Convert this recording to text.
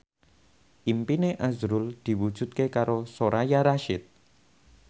impine azrul diwujudke karo Soraya Rasyid